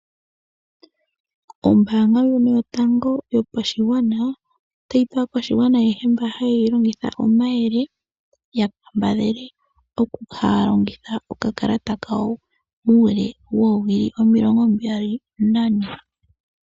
Ombaanga ndjono yotango yopashigwana otayi pe aakwashigwana ayehe mboka haye yi longitha omayele ya kambadhale oku kala haya longitha okakalata kawo muule woowili omilongo mbali nane.